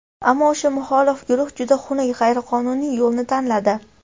Ammo o‘sha muxolif guruh juda xunuk, g‘ayriqonuniy yo‘lni tanladi.